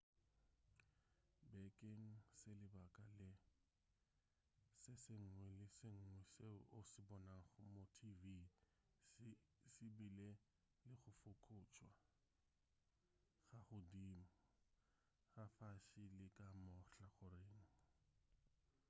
bakeng sa lebaka le se sengwe le se sengwe seo o se bonago mo tv se bile le go fokotšwa ka godimo ka fase le ka mahlakoreng